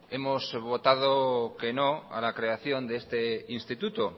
hemos votado que no a la creación de este instituto